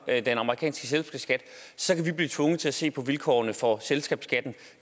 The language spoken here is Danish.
den amerikanske selskabsskat så kan vi blive tvunget til at se på vilkårene for selskabsskatten